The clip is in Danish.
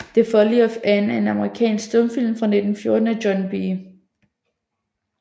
The Folly of Anne er en amerikansk stumfilm fra 1914 af John B